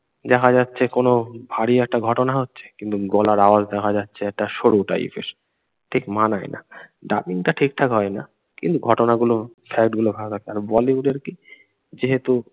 দেখা যাচ্ছে কোনো ভারী একটা ঘটনা হচ্ছে কিন্তু গলার আওয়াজ দেখা যাচ্ছে একটা সরু টাইপএর ঠিক মানায় না ডাবিংটা ঠিক ঠাক হয় না কিন্তু ঘটনাগুলো ফ্যাক্টগুলো ভাগে আছে। আর বলিউডের কি যেহেতু